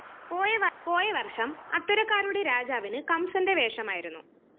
പോയവര്‍ഷം അത്തരക്കാരുടെ രാജാവിന് കംസന്റെ വേഷമായിരുന്നു